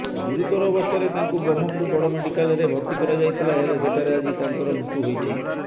ଗୁରୁତର ଅବସ୍ଥାରେ ତାଙ୍କୁ ବ୍ରହ୍ମପୁର ବଡ଼ ମେଡିକାଲ୍ରେ ଭର୍ତ୍ତି କରାଯାଇଥିଲା ହେଲେ ସେଠାରେ ଆଜି ତାଙ୍କର ମୃତ୍ୟୁ ହୋଇଛି